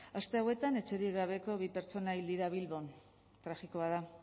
aste hauetan etxerik gabeko bi pertsona hil dira bilbon tragikoa da